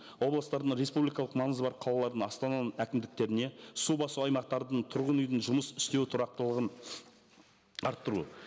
облыстардың республикалық маңызы бар қалалардың астананың әкімдіктеріне су басу аймақтардың тұрғын үйдің жұмыс істеуі тұрақтылығын арттыру